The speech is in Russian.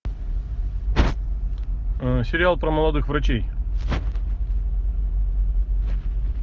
сериал про молодых врачей